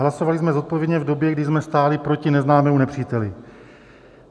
Hlasovali jsme zodpovědně v době, kdy jsme stáli proti neznámému nepříteli.